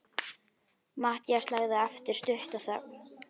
Matthías lagði á eftir stutta þögn.